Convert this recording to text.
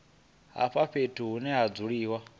vha fhethu hune ha dzuliwa